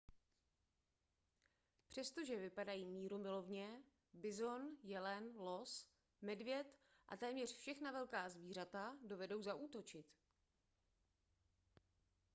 přestože vypadají mírumilovně bizon jelen los medvěd a téměř všechna velká zvířata dovedou zaútočit